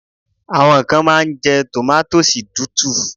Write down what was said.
Àwọn kan máa ń jẹ́ tòmátósì tútù.